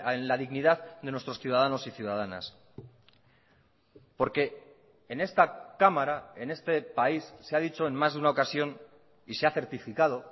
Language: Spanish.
en la dignidad de nuestros ciudadanos y ciudadanas porque en esta cámara en este país se ha dicho en más de una ocasión y se ha certificado